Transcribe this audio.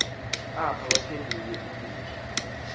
bamkelwe kakuhte apha